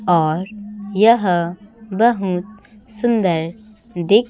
और यह बहुत सुंदर दिख--